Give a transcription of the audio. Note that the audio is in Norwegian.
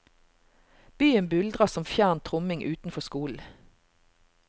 Byen buldrer som fjern tromming utenfor skolen.